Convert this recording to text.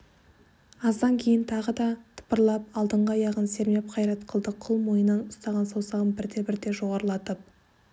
аздан кейін тағы да тыпырлап алдыңғы аяғын сермеп қайрат қылды қыл мойыннан ұстаған саусағын бірте-бірте жоғарылатып